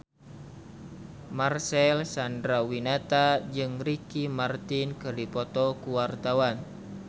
Marcel Chandrawinata jeung Ricky Martin keur dipoto ku wartawan